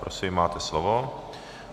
Prosím, máte slovo.